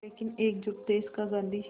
लेकिन एकजुट देश का गांधी